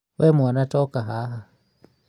we mwana ta ũka haha